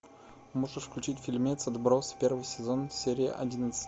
можешь включить фильмец отбросы первый сезон серия одиннадцать